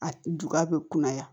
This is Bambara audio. A juba bɛ kunnaya